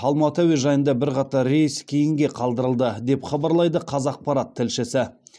алматы әуежайында бірқатар рейс кейінге қалдырылды деп хабарлайды қазақпарат тілшісі